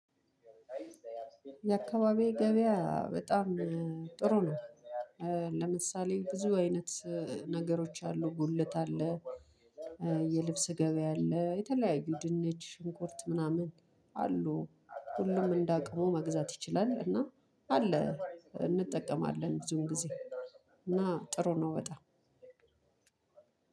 የአካባቢው ገበያ በጣም ጥሩ ነው። ለምሳሌ ብዙ አይነት ነገሮች አሉ ጉልት አለ። የልብስ ገበያ አለ የተለያዩ ድንች ሽንኩርት ምናምን አሉ ሁሉም እንዳቅው መግዛት ይችላል። እና አለ እንጠቀማለን ብዙን ጊዜ። እና ጥሩ ነው በጣም